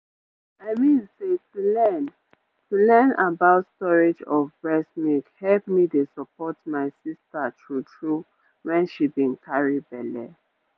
i mean say to learn to learn about storage of breast milk help me dey support my sister true-true when she been carry belle